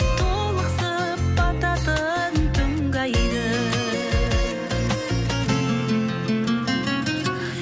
толықсып бататын түнгі айды